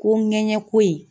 Ko ŋɛɲɛ ko in